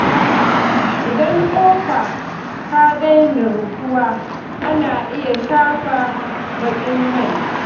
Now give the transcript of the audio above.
Idan kofa ta daina rufuwa, ana iya shafa baƙin mai.